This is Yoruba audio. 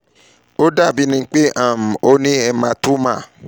o dabi pe um o ni hematoma